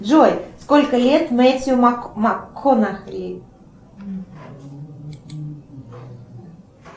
джой сколько лет мэтью макконахи